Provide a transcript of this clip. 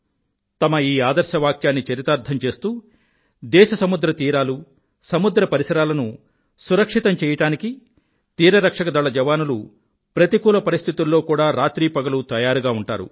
తమ ఈ ఆదర్శవాక్యాన్ని చరితార్థం చేస్తూ దేశ సముద్ర తీరాలూ సముద్ర పరిసరాలను సురక్షితం చెయ్యడానికి తీరరక్షక దళ జవానులు ప్రతికూల పరిస్థితుల్లో కూడా రాత్రీ పగలు తయారుగా ఉంటారు